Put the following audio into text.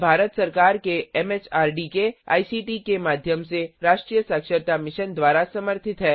यह भारत सरकार एमएचआरडी के आईसीटी के माध्यम से राष्ट्रीय साक्षरता मिशन द्वारा समर्थित है